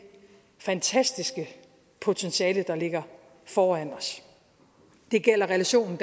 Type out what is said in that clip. fantastiske potentiale der ligger foran os det gælder relationen